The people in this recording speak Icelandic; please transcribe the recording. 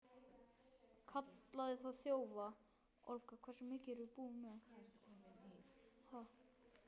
Kallaði þá þjófa.